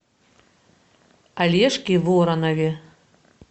олежке воронове